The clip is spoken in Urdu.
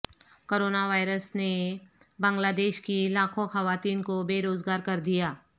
کرونا وائرس نے بنگلہ دیش کی لاکھوں خواتین کو بے روزگار کر دیا